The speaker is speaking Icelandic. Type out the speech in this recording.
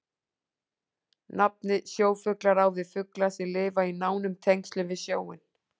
Nafnið sjófuglar á við fugla sem lifa í nánum tengslum við sjóinn.